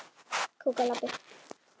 Það segir mikið.